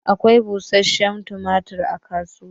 Akwai bushenshen tumatur a kasuwa.